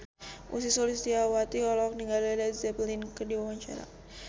Ussy Sulistyawati olohok ningali Led Zeppelin keur diwawancara